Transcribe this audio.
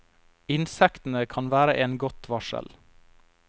Insektene kan være en godt varsel.